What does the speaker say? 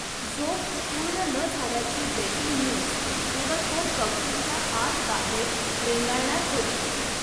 झोप पुर्ण न झाल्याची ब्रेकींग न्यूज दिवसभर कवटीच्या आतबाहेर रेंगाळणार होती.